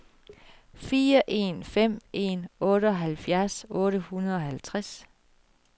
fire en fem en otteoghalvfjerds otte hundrede og halvtreds